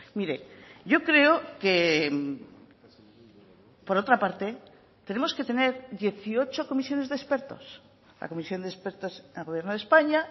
mire yo creo que por otra parte tenemos que tener dieciocho comisiones de expertos la comisión de expertos al gobierno de españa